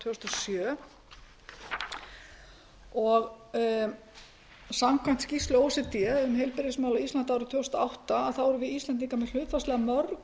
þúsund og sjö samkvæmt skýrslu o e c d um heilbrigðismál á íslandi frá tvö þúsund og átta erum við íslendingar með hlutfallslega mörg